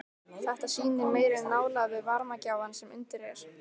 Þetta sýnir meiri nálægð við varmagjafann sem undir er.